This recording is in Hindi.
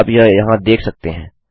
आप यह यहाँ देख सकते हैं